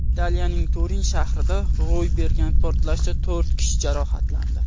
Italiyaning Turin shahrida ro‘y bergan portlashda to‘rt kishi jarohatlandi.